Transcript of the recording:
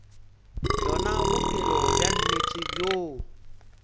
bjona bophelo bja nnete bjoo